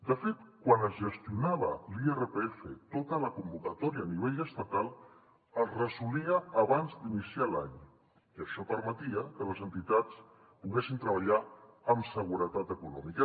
de fet quan es gestionava l’irpf tota la convocatòria a nivell estatal es resolia abans d’iniciar l’any i això permetia que les entitats poguessin treballar amb seguretat econòmica